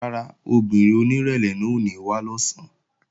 Rárá, obìnrin onírẹ̀lẹ̀ náà ò ní wá lọ̀sán